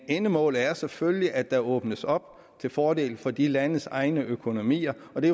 endemålet er selvfølgelig at der åbnes op til fordel for de landes egne økonomier og det